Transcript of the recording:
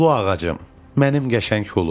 Hulu ağacım, mənim qəşəng hulum.